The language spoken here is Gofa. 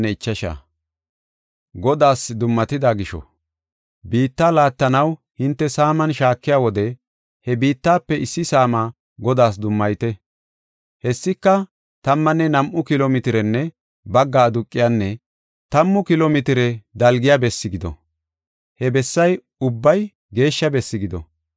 “Biittaa laattanaw hinte saaman shaakiya wode he biittafe issi saamaa Godaas dummayite. Hessika tammanne nam7u kilo mitirenne bagga aduqiyanne tammu kilo mitire dalgiya besse gido. He bessay ubbay geeshsha besse gido.